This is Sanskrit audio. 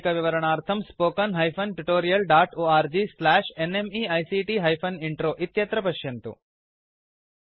अधिकविवरणार्थं spoken hyphen tutorial dot org slash NMEICT hyphen intro इत्यत्र पश्यन्तु